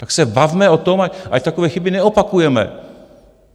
Tak se bavme o tom, ať takové chyby neopakujeme.